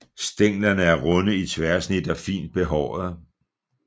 Stænglerne er runde i tværsnit og fint behårede